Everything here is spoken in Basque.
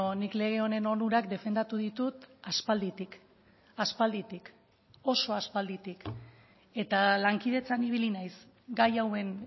nik lege honen onurak defendatu ditut aspalditik aspalditik oso aspalditik eta lankidetzan ibili naiz gai hauen